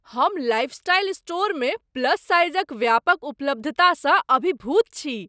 हम लाइफस्टाइल स्टोरमे प्लस साइजक व्यापक उपलब्धतासँ अभिभूत छी।